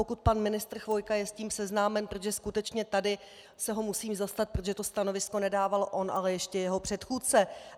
Pokud pan ministr Chvojka je s tím seznámen, protože skutečně tady se ho musím zastat, protože to stanovisko nedával on, ale ještě jeho předchůdce.